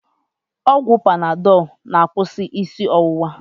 Ọgwụ panadọl na-akwụsị isi ọwụwa